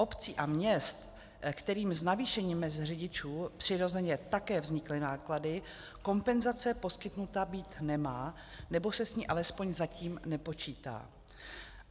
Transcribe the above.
Obcím a městům, kterým s navýšením mezd řidičů přirozeně také vznikly náklady, kompenzace poskytnuta být nemá, nebo se s ní alespoň zatím nepočítá.